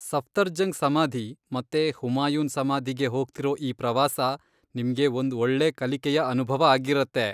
ಸಫ್ದರ್ಜಂಗ್ ಸಮಾಧಿ ಮತ್ತೆ ಹುಮಾಯೂನ್ ಸಮಾಧಿಗೆ ಹೋಗ್ತಿರೋ ಈ ಪ್ರವಾಸ ನಿಮ್ಗೆ ಒಂದ್ ಒಳ್ಳೇ ಕಲಿಕೆಯ ಅನುಭವ ಆಗಿರತ್ತೆ.